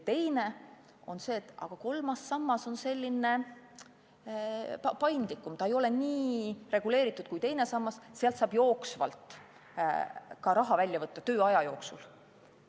Teine küsimus on see, et aga kolmas sammas on paindlikum, ta ei ole nii reguleeritud kui teine sammas, sealt saab jooksvalt raha välja võtta tööea jooksul.